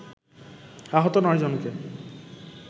আহত নয় জনকে